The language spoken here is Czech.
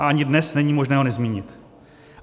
A ani dnes není možné ho nezmínit.